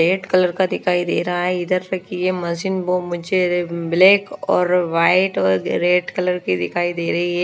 Red colour का दिखाई दे रहा है इधर से की ये मशीन वो मुझे ब्लैक और वाइट और रेड कलर की दिखाई दे रही है।